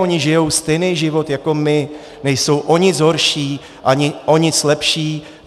Oni žijí stejný život jako my, nejsou o nic horší ani o nic lepší.